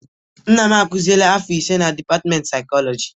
Nna m akuzieela afọ ise na dịpatịmentị saịkọlọjị.